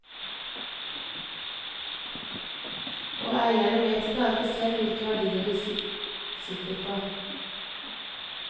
Og eierne vet ikke alltid selv hvilke verdier de sitter på.